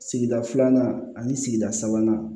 Sigida filanan ani sigida sabanan